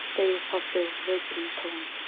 segir pabbi og breytir um tón.